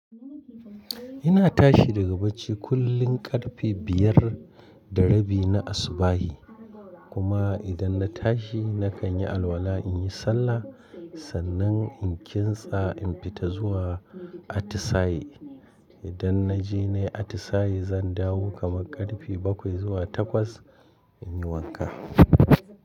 Ina tashi daga bacci kullum ƙarfe biyar da rabi na asubah Kuma idan na tashi nakan yi alwala in yi sallah, sannan in kintsa in fita zuwa atisaye. Idan na je na yi atisaye zan dawo kama ƙarfe bakwai zuwa takwas, in yi wanka.